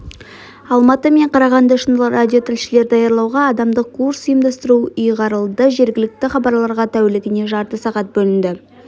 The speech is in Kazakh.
алматы мен қарағанды үшін радиотілшілер даярлауға адамдық курс ұйымдастыру ұйғарылады жергілікті хабарларға тәулігіне жарты сағат бөлінді